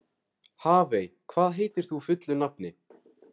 Hafey, hvað heitir þú fullu nafni?